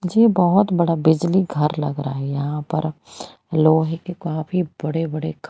ये बहुत बड़ा बिजली घर लग रहा है यहां पर लोहे के काफी बड़े बड़े--